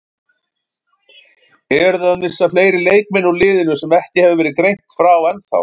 Eruð þið að missa fleiri leikmenn úr liðinu sem ekki hefur verið greint frá ennþá?